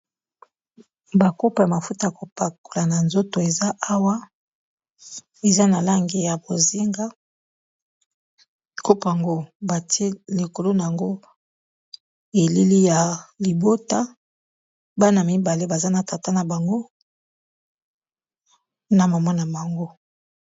bakopa ya mafuta ya kopakola na nzoto eza awa eza na langi ya bozinga kopango batie likolu na yango elili ya libota bana mibale baza na tata na bango na momona mango